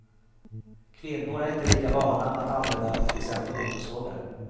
Kvinnor är inte lika vana att använda till exempel motorsågar.